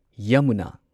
Yamuna